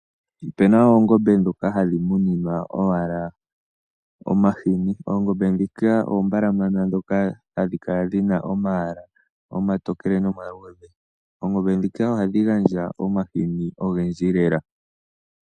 Opena oongombe dhoka hadhi muninwa owala omashini. Oongombe dhika oombalamana dhoka hadhi kala dhina omayala omatokele nomaluudhe. Oongombe dhika ohadhi gandja omashini ogendji lela.